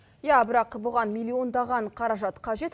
иә бірақ бұған миллиондаған қаражат қажет